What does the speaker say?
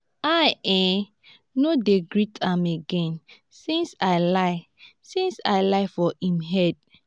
i um no dey greet am again since i lie since i lie for im head